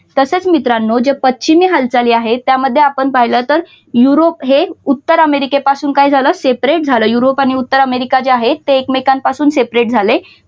तसेच मित्रांनो म्हणजे पश्चिमी हालचाली आहेत त्यामध्ये आपण पाहिलं तर युरोप हे उत्तर अमेरिकेपासून काय झालं separate झालं युरोप आणि उत्तर अमेरिका जे आहे ते एकमेकांपासून separate झाले.